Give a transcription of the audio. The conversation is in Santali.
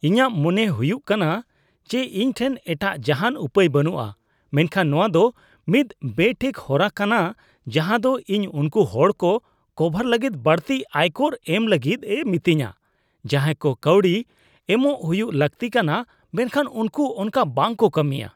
ᱤᱧᱟᱜ ᱢᱚᱱᱮ ᱦᱩᱭᱩᱜ ᱠᱟᱱᱟ ᱡᱮ ᱤᱧ ᱴᱷᱮᱱ ᱮᱴᱟᱜ ᱡᱟᱦᱟᱱ ᱩᱯᱟᱹᱭ ᱵᱟᱹᱱᱩᱜᱼᱟ, ᱢᱮᱱᱠᱷᱟᱱ ᱱᱚᱶᱟ ᱫᱚ ᱢᱤᱫ ᱵᱮᱴᱷᱤᱠ ᱦᱚᱨᱟ ᱠᱟᱱᱟ ᱡᱟᱦᱟᱸ ᱫᱚ ᱤᱧ ᱩᱱᱠᱩ ᱦᱚᱲ ᱠᱚ ᱠᱚᱵᱷᱟᱨ ᱞᱟᱹᱜᱤᱫ ᱵᱟᱹᱲᱛᱤ ᱟᱭᱠᱚᱨ ᱮᱢ ᱞᱟᱹᱜᱤᱫ ᱮ ᱢᱤᱛᱟᱹᱧᱟ ᱡᱟᱦᱟᱸᱭ ᱠᱚ ᱠᱟᱹᱣᱰᱤ ᱮᱢᱚᱜ ᱦᱩᱭᱩᱜ ᱞᱟᱹᱠᱛᱤ ᱠᱟᱱᱟ ᱢᱮᱱᱠᱷᱟᱱ ᱩᱱᱠᱩ ᱚᱱᱠᱟ ᱵᱟᱝ ᱠᱚ ᱠᱟᱹᱢᱤᱭᱟ ᱾